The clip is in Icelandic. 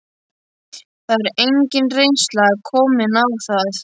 Það er engin reynsla komin á það.